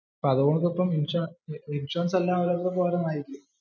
അപ്പോ അത് നോക്കുമ്പോ ഇൻഷുറൻസ് എല്ലാം ഓരോരുത്തർക്കും ഓരോന്ന് ആയില്ലേ.